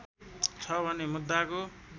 छ भने मुद्दाको